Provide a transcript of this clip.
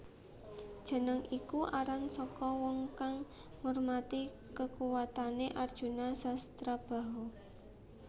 Jeneng iku aran saka wong kang ngurmati kekuwatane Arjuna Sasrabahu